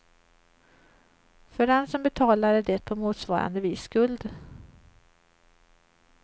För den som betalar är det på motsvarande vis skuld.